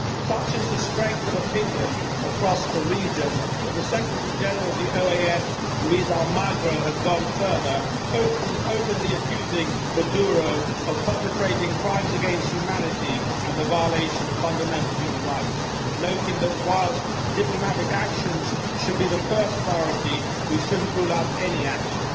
Such is the strength of opinion across the region that the Secretary General of the OAS, Luis Almagro, has gone further, openly accusing Maduro of perpetrating crimes against humanity and the violation of fundamental human rights, noting that, whilst diplomatic actions should be the first priority, we shouldn't rule out any action.